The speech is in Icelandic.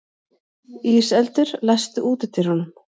Íseldur, læstu útidyrunum.